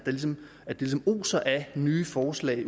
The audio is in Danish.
ligesom oser af nye forslag